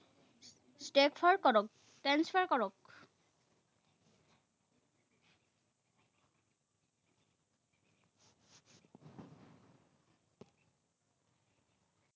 transfer কৰক। transfer কৰক।